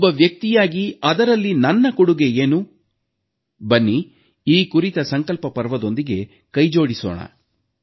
ಒಬ್ಬ ವ್ಯಕ್ತಿಯಾಗಿ ಅದರಲ್ಲಿ ನನ್ನ ಕೊಡುಗೆ ಏನು ಬನ್ನಿ ಈ ಕುರಿತ ಸಂಕಲ್ಪಪರ್ವದೊಂದಿಗೆ ಕೈಜೋಡಿಸೋಣ